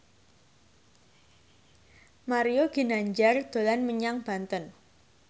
Mario Ginanjar dolan menyang Banten